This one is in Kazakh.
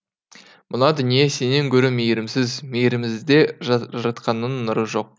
мына дүние сенен гөрі мейірімсіз мейірімізде жаратқанның нұры жоқ